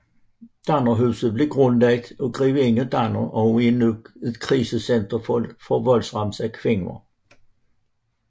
Dannerhuset blev grundlagt af grevinde Danner og er nu et krisecenter for voldsramte kvinder